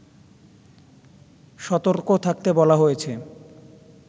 সতর্ক থাকতে বলা হয়েছে